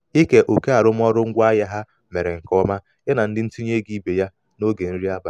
ike oke arụmaọrụ ngwaahịa ha mere nke ọma ya na ndị ntinye ego ibe ya n'oge nri abalị. abalị.